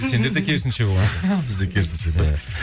сендерде керісінше бізде керісінше